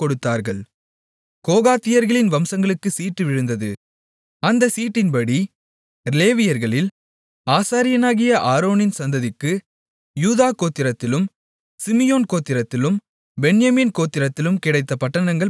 கோகாத்தியர்களின் வம்சங்களுக்குச் சீட்டு விழுந்தது அந்தச் சீட்டின்படி லேவியர்களில் ஆசாரியனாகிய ஆரோனின் சந்ததிக்கு யூதா கோத்திரத்திலும் சிமியோன் கோத்திரத்திலும் பென்யமீன் கோத்திரத்திலும் கிடைத்த பட்டணங்கள் பதின்மூன்று